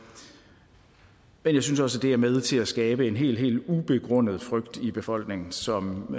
men jeg synes også det er med til at skabe en helt helt ubegrundet frygt i befolkningen som